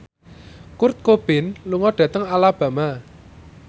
Kurt Cobain lunga dhateng Alabama